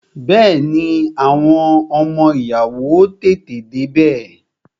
Bẹẹni, àwọn ọmọ ìyàwó ó tètè dé bẹ